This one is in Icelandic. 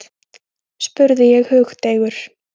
spurði ég hugdeigur.